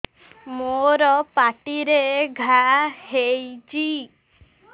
ମୋର ପାଟିରେ ଘା ହେଇଚି